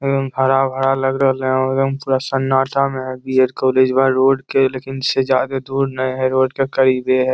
एकदम हरा भरा लग रहले और एकदम पूरा सन्नाटा में है कॉलेजवा रोड के लेकिन इससे जादे दूर न है रोड के करिबे है ।